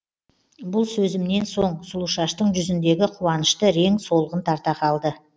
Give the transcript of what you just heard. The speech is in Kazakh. бұл сөзімнен соң сұлушаштың жүзіндегі қуанышты рең солғын тарта қалды